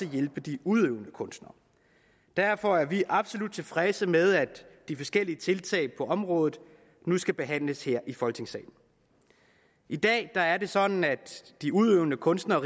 hjælpe de udøvende kunstnere derfor er vi absolut tilfredse med at de forskellige tiltag på området nu skal behandles her i folketingssalen i dag er det sådan at de udøvende kunstnere